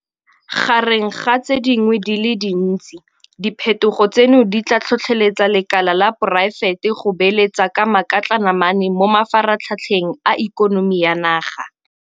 Gareng ga tse dingwe di le dintsi, diphetogo tseno di tla tlhotlheletsa lekala la poraefete go beeletsa ka makatlanamane mo mafaratlhatlheng a ikonomi ya naga.